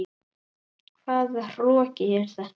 Hvaða hroki er þetta?